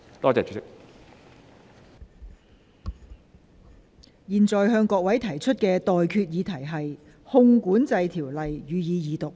我現在向各位提出的待決議題是：《汞管制條例草案》，予以二讀。